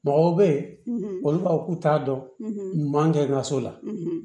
Mɔgɔw bɛ yen olu b'a fɔ k'u t'a dɔn ɲuman kɛ n ka so la